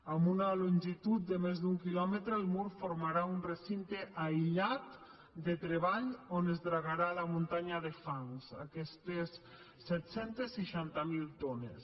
amb una longitud de més d’un quilòmetre el mur formarà un recinte aïllat de treball on es dragarà la muntanya de fangs aquestes set cents i seixanta miler tones